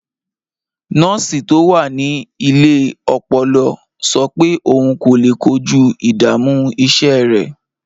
Nọ́ọ̀sì tó wà ní ilé ọpọlọ sọ pé òun kò lè kojú ìdààmú iṣẹ́ rẹ̀.